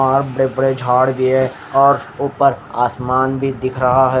और बड़े बड़े झाड़ भी और ऊपर आसमान भी दिख रहा है।